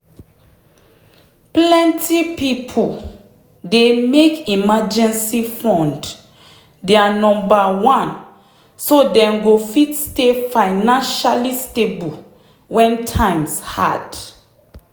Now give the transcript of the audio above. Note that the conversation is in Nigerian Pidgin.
plenty people dey make emergency fund their number one so dem go fit stay financially stable when times hard.